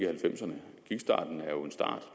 halvfemserne